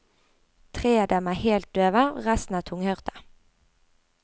Tre av dem er helt døve, resten er tunghørte.